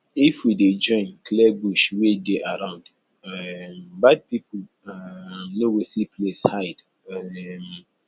if we dey join clear bush wey dey around um bad pipo um no go see place hide um